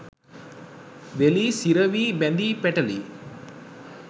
වෙලී සිරවී බැඳී පැටලී